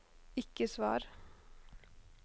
ikke svar